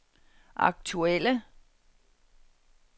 aktuelle